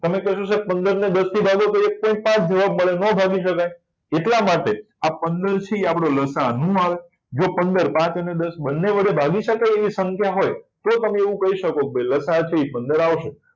તમે કહેશો sir પંદર ને દસ થી ભાગો તો એક point પાચ જવાબ આવે ન ભાગી શકાય એટલા માટે પંદરથી લસા ન આવે તો પંદર પાચ અને દસ બંને વડે ભાગી શકાય તો તો તમે એવું કહી શકો લસાઅ થી પંદર આવશે